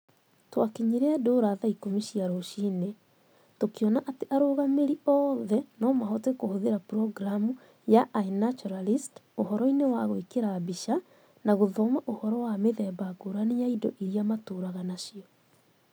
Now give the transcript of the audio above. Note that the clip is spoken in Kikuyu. Twakinyire Ndura thaa ikũmi cia rũcinĩ. Tũkĩona atĩ arũngamĩri othe no mahote kũhũthĩra programu ya iNaturalist ũhoro-inĩ wa gwĩkĩra mbica na gũthoma ũhoro wa mĩthemba ngũrani ya indo iria matũũraga nacio.